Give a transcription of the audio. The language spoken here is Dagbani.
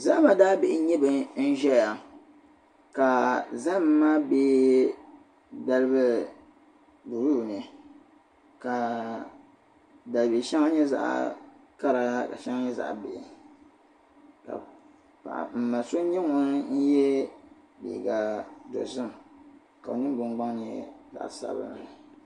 Zahima daabihi n-nyɛ ban ʒiya ka zahim maa be dalibil' buluu ni ka dalibil' shɛŋa nyɛ zaɣ' kara ka shɛŋa nyɛ zaɣ' bihi ka m-ma so nyɛ ŋun ye liiga dɔzim ka o ningbun' gbaŋ nyɛ zaɣ' sabinli